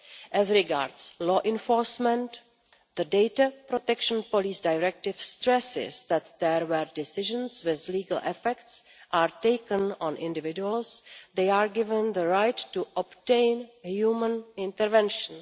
As regards law enforcement, the data protection police directive stresses that where decisions with legal effects are taken on individuals, they are given the right to obtain human intervention.